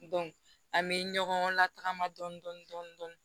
an bɛ ɲɔgɔn lataagama dɔni dɔni dɔni